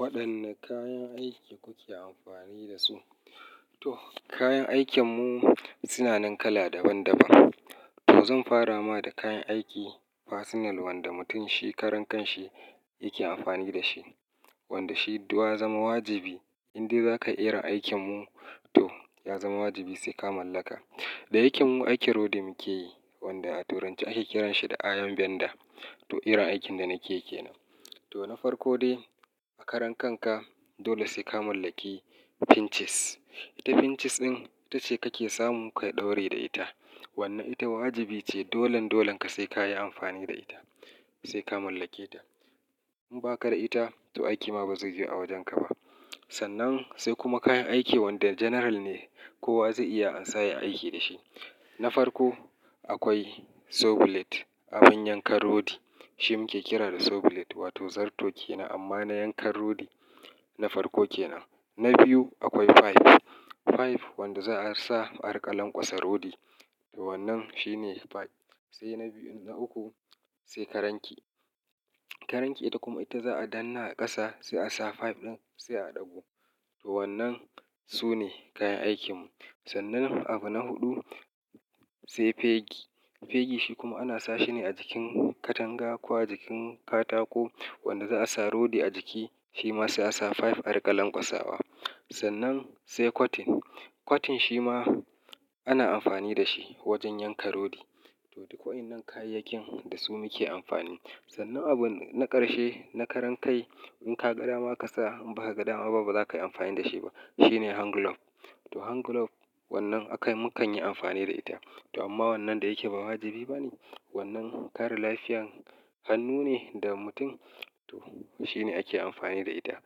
Waɗanne kayan aiki kuke amfani da su? To, kayan aikinmu suna nan kala daban-daban. To, zan fara ma da kayan aikin personal wanda mutum shi karan kanshi yake amfani da shi. Wanda shi ya zama wajibi in dai za ka yi irin aikinmu to ya zama wajibi sai ka mallaka. Da yake mu aikin rodi muke yi wanda a turanci ake kiranshi da iron vendor. To, irin aikin da nake ke nan. To, na farko dai a karan kanka dole sai ka mallaki pinches. Ita pinches din ita ce kake samu ka ɗore da ita. Wannan ita wajibi ce dolan dolan ka sai ka yi amfani da ita, sai ka mallake ta. In baka da ita to aiki ma bazai yiwu a wajenka ba. Sannan sai kuma kayan aiki wanda general ne kowa zai iya ansa yai aiki da shi. Na farko akwai saw bullet, abin yanka rodi. Shi muke kira da saw bullet wato zarto kenan amma na yankan rodi na farko kenan. Na biyu akwai pipe. Pipe wanda za a sa a riƙa lankwasa rodi. To, wannan shine pipe. Sai na biyun da uku sai Karanki. Karanki ita kuma ita za a danna a ƙasa sai a sa pipe ɗin sai a ɗago. To, wannan sune kayan aikinmu. Sannan abu na huɗu sai pegi. Pegi shi kuma ana sa shi ne a jikin katanga ko a jikin katako wanda za a sa rodi a jiki shi ma sai a sa pipe a riƙa lanƙwasawa. Sannan sai cotton. Cotton shi ma ana amfani da shi wajen yanka rodi. To, duk waɗannan kayayyakin da su muke amfani. Sannan abu na ƙarshe na karan kai in ka ga dama ka sa in baka ga dama ba baza ka yi amfani da shi ba. Shi ne hand glove. To, hand glove wannan aka yi mu kan yi amfani da ita. To, amma wannan da yake ba wajibi ba ne. Wannan kare lafiyar hannu ne da mutum. To, shi ne ake amfani da ita.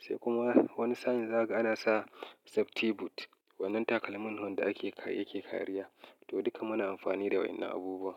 Sai kuma wani sa'in zaka ana sa safety boot. Wannan takalmin ne wanda ake yake kariya. To, duka muna amfani da waɗannan abubuwa.